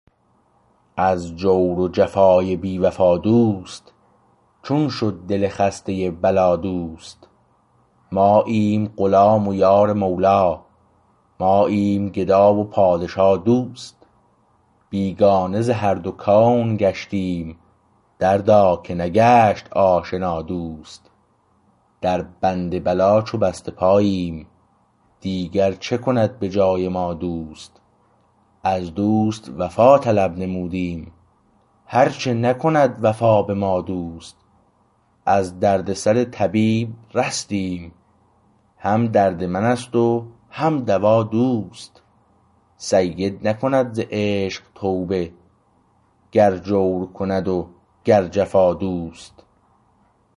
از جور و جفای بی وفا دوست چون شد دل خسته بلا دوست ماییم غلام و یار مولا ماییم گدا و پادشا دوست بیگانه ز هر دو کون گشتیم دردا که نگشت آشنا دوست در بند بلا چو بسته پاییم دیگر چه کند به جای ما دوست از دوست وفا طلب نمودیم هر چه نکند وفا به ما دوست از دردسر طبیب رستیم هم درد من است و هم دوا دوست سید نکند ز عشق توبه گر جور کند و گر جفا دوست